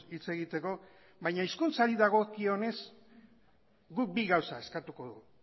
hitz egiteko baina hizkuntzari dagokionez guk bi gauza eskatuko dugu